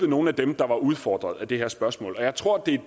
nogle af dem der var udfordret af det her spørgsmål jeg tror det er